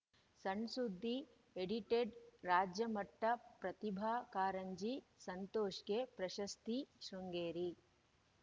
ಸಣ್‌ಸುದ್ದಿ ಎಡಿಟೆಡ್‌ ರಾಜ್ಯಮಟ್ಟಪ್ರತಿಭಾ ಕಾರಂಜಿ ಸಂತೋಷ್‌ಗೆ ಪ್ರಶಸ್ತಿ ಶೃಂಗೇರಿ